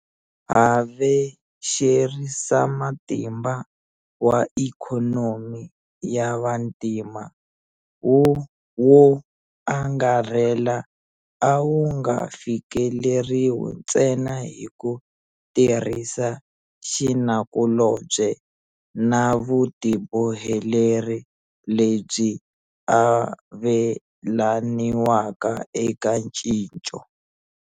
Havexerisamatimba wa ikhonomi ya vantima wo angarhela a wu nga fikeleriwi ntsena hi ku tirhisa xinakulobye na vutiboheleri lebyi avelaniwaka eka ncinco.